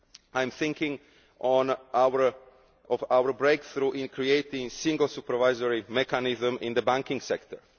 I am thinking of our breakthrough in creating a single supervisory mechanism in the banking sector.